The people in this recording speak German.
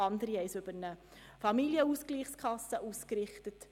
Andere haben diese über eine Familienausgleichskasse ausgerichtet.